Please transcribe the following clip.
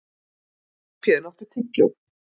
Skarphéðinn, áttu tyggjó?